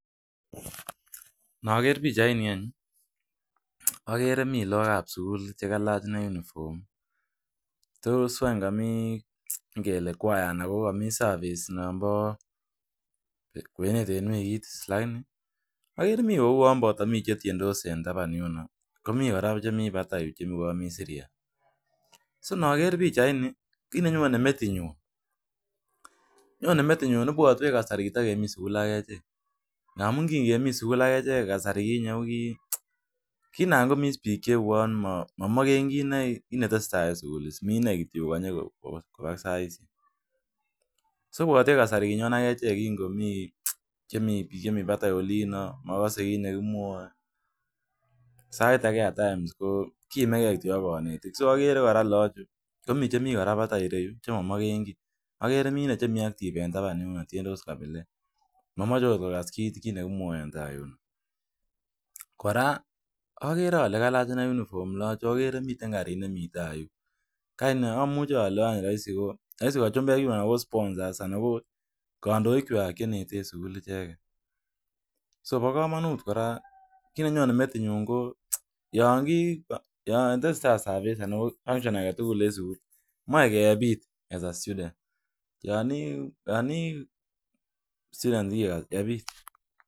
Mi lagok ab sugul che kagolach uniform. Tos ko mi, kwaya anan ko service. Mi che tiendos en taban, ako mi che mi batai. Kobuatuan kasari ne kiami sugul. Mi piik che mi batai olin magase kiit ne kimwae. Saet age iime ge ak kanetik. Agere lagochu, ko mi chebo batai che mamagen kii. Mi chebo taban en yu tiendos kabilet.